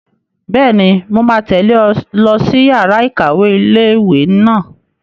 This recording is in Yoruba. Bẹ́ẹ̀ni, mo máa tẹ̀lé ọ lọ sí yàrá-ìkàwé ilé-ìwé náà